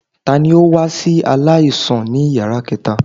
Tani o wa si alaisan ni yara kẹta?